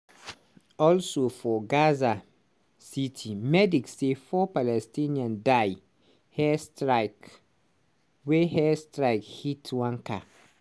also for gaza city medics say four palestinians die airstrike wen airstrike hit one car.